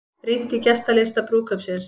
Rýnt í gestalista brúðkaupsins